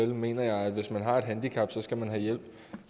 mener jeg at hvis man har et handicap skal man have hjælp